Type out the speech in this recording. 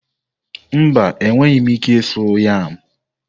Mba, enweghị m ike ịsu yam.